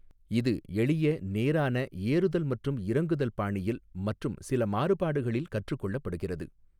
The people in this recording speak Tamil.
இது எளிய நேரான ஏறுதல் மற்றும் இறங்குதல் பாணியில் மற்றும் சில மாறுபாடுகளில் கற்றுக் கொள்ளப்படுகிறது.